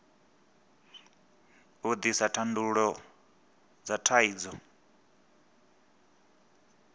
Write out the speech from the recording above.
u ḓisa thandululo dza thaidzo